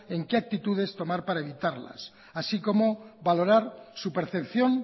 y qué actitudes tomar para evitarlas así como valorar su percepción